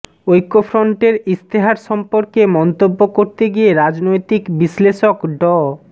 ঐক্যফ্রন্টের ইশতেহার সম্পর্কে মন্তব্য করতে গিয়ে রাজনৈতিক বিশ্লেষক ড